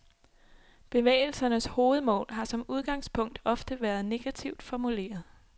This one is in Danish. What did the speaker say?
Bevægelsernes hovedmål har som udgangspunkt ofte har været negativt formuleret.